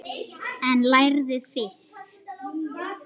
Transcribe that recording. En lærðu fyrst.